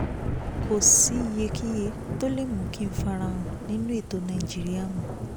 kò sí iyekíye tó lè mú kí n farahàn nínú ètò nàìjíríà mọ́